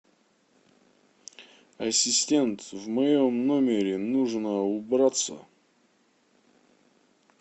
ассистент в моем номере нужно убраться